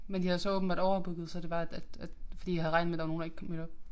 Men de havde så åbenbart overbooket så det var at at fordi jeg havde regnet med at der var nogen der ikke kom et op